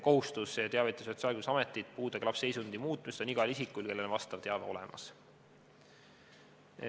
Kohustus teavitada Sotsiaalkindlustusametit puudega lapse seisundi muutusest on igal isikul, kelle on vastav teave olemas.